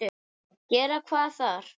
Gera hvað þar?